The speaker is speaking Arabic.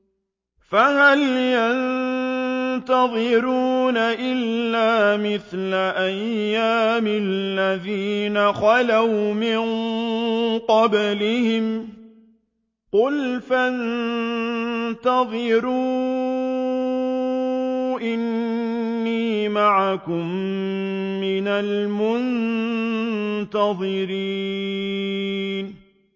فَهَلْ يَنتَظِرُونَ إِلَّا مِثْلَ أَيَّامِ الَّذِينَ خَلَوْا مِن قَبْلِهِمْ ۚ قُلْ فَانتَظِرُوا إِنِّي مَعَكُم مِّنَ الْمُنتَظِرِينَ